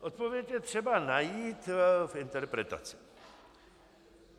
Odpověď je třeba najít v interpretaci.